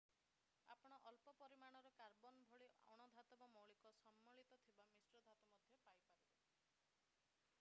ଆପଣ ଅଳ୍ପ ପରିମାଣର କାର୍ବନ୍ ଭଳି ଅଣ-ଧାତବ ମୌଳିକ ସମ୍ମିଳିତ ଥିବା ମିଶ୍ର ଧାତୁ ମଧ୍ୟ ପାଇପାରିବେ